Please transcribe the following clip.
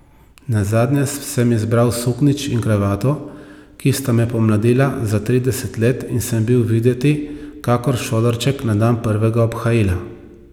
Nazadnje sem izbral suknjič in kravato, ki sta me pomladila za trideset let in sem bil videti kakor šolarček na dan prvega obhajila.